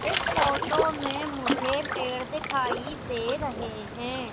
इस फोटो में मुझे पेड़ दिखाई दे रहें हैं।